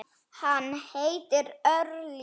Hann hét Ulrich.